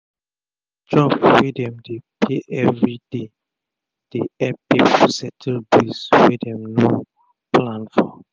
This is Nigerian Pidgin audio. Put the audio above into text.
na job wey dem dey pay everi day dey epp pipu settle bills wey dem no plan for